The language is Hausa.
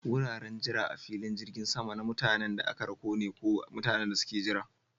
Wuraren jira a filin jirgin sama na mutanen da aka rako ne ko mutanen da suke jira.